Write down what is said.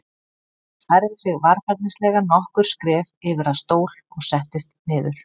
Hann færði sig varfærnislega nokkur skref yfir að stól og settist niður.